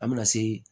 An bɛna se